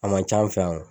A man ca an fɛ yan